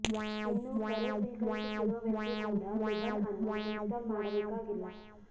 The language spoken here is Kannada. ಇನ್ನು ಕರೆ ಸ್ವೀಕರಿಸುತ್ತಿರುವ ವ್ಯಕ್ತಿ ಕೂಡ ಲಿಬನ್ ಅನ್ನು ಇನ್ಸ್ಟಾಲ್ ಮಾಡಬೇಕಾಗಿಲ್ಲ